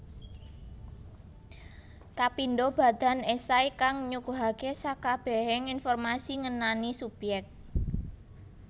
Kapindho badan esai kang nyuguhake sekabehing informasi ngenani subyek